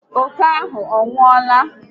Oke ahụ anwụọla?